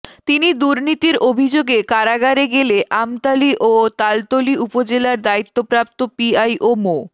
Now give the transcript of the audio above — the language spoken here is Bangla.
তিনি দুর্নীতির অভিযোগে কারাগারে গেলে আমতলী ও তালতলী উপজেলার দায়িত্বপ্রাপ্ত পিআইও মো